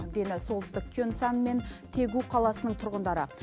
дені солтүстік кёнсан мен тегу қаласының тұрғындары